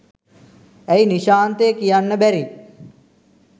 ඇයි නිශාන්තය කියන්න බැරි